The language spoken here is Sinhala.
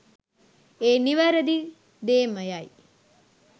ඒ නිවැරදි දේමයයි